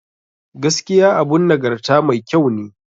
Gaskiya abun nagarta mai ƙyau ne.